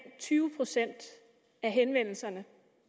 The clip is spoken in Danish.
tyve procent af henvendelserne